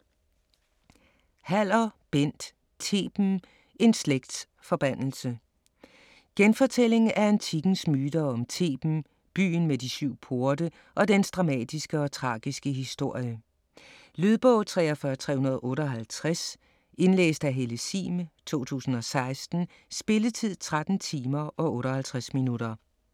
Haller, Bent: Theben: en slægts forbandelse Genfortælling af antikkens myter om Theben, byen med de syv porte, og dens dramatiske og tragiske historie. Lydbog 43358 Indlæst af Helle Sihm, 2016. Spilletid: 13 timer, 58 minutter.